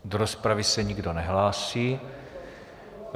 Do rozpravy se nikdo nehlásí.